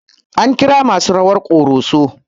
An kira masu rawar ƙoroso